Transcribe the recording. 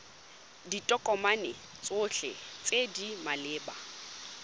ditokomane tsotlhe tse di maleba